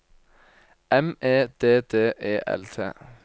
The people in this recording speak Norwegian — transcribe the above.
M E D D E L T